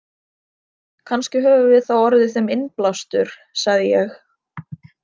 Kannski höfum við þá orðið þeim innblástur, sagði ég.